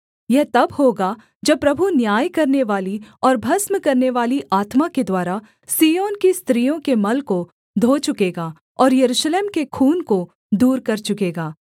यह तब होगा जब प्रभु न्याय करनेवाली और भस्म करनेवाली आत्मा के द्वारा सिय्योन की स्त्रियों के मल को धो चुकेगा और यरूशलेम के खून को दूर कर चुकेगा